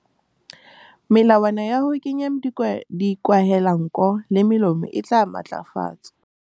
Melawana ya ho kenya dikwahelanko le molomo e tla matlafatswa.